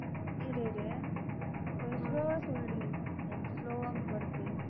இரு இரு கொஞ்சம் slow வா சொல்லுடி. எனக்கு slow ஆ வருது